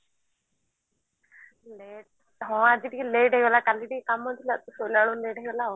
late ହଁ ଆଜି ଟିକେ late ହେଇଗଲା କାଲି ଟିକେ କାମ ଥିଲା ଶୋଇଲା ବେଳକୁ late ହେଇଗଲା ଆଉ